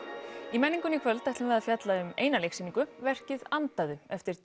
í menningunni í kvöld ætlum við að fjalla um eina leiksýningu verkið andaðu eftir